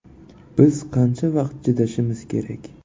Biz qancha vaqt chidashimiz kerak?